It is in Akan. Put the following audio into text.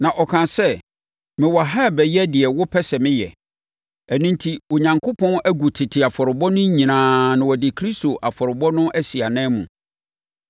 Na ɔkaa sɛ, “Mewɔ ha rebɛyɛ deɛ wopɛ sɛ meyɛ.” Ɛno enti, Onyankopɔn agu tete afɔrebɔ no nyinaa na ɔde Kristo afɔrebɔ no asi ananmu.